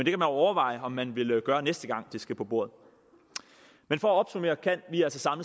jo overveje om man vil gøre det næste gang det skal på bordet men for at opsummere kan vi altså